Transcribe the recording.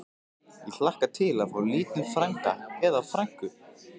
Ég hlakka til að fá lítinn frænda. eða frænku!